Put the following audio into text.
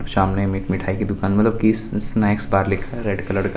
सामने में एक मिठाई की दूकान मतलब की स-स्नेकस बार लिखा हुआ है रेड कलर का |